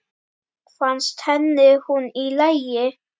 Fannst henni hún í lagi?